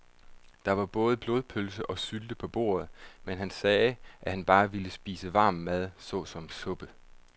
Der var både blodpølse og sylte på bordet, men han sagde, at han bare ville spise varm mad såsom suppe.